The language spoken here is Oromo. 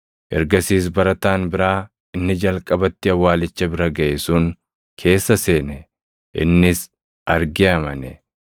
Ergasiis barataan biraa inni jalqabatti awwaalicha bira gaʼe sun keessa seene. Innis argee amane.